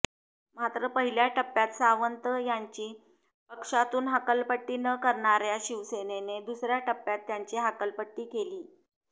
मात्र पहिल्या टप्प्यात सावंत यांची पक्षातून हकालपट्टी न करणार्या शिवसेनेने दुसर्या टप्प्यात त्यांची हकालपट्टी केली